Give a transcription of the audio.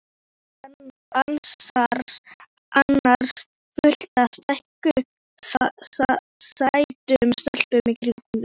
Er ekki annars fullt af sætum stelpum í kringum þig?